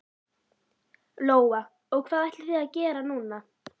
Lóa: Og hvað ætlið þið að gera núna?